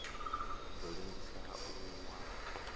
ḓo ḽengisa u wa ha